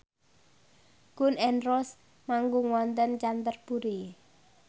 Gun n Roses manggung wonten Canterbury